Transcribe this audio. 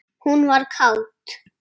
Hún var kát.